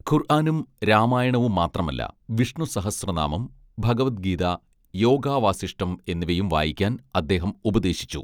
ഖുർ ആനും രാമായണവും മാത്രമല്ല വിഷ്ണുസഹസ്രനാമം ഭഗവത് ഗീത യോഗാവാസിഷ്ഠം എന്നിവയും വായിക്കാൻ അദ്ദേഹം ഉപദേശിച്ചു